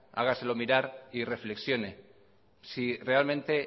hágaselo mirar y reflexione si realmente